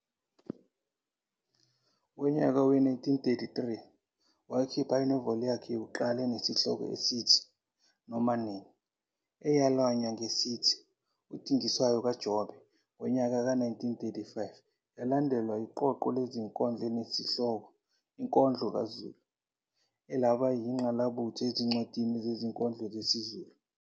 Ngonyaka we-1933 wakhipha inoveli yakhe yokuqala enesihloko esithi "Noma Nini" eyalanywa ngesithi"UDingiswayo kaJobe", ngonyaka ka-1935 yalandelwa yiqoqo lezinkondlo elinesihloko "Inkondlo kaZulu" elaba yingqalabutho ezincwadini zezinkondlo zesiZulu.